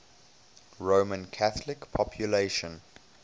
roman catholic population